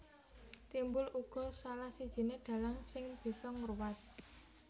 Timbul uga salah sijiné dhalang sing bisa ngruwat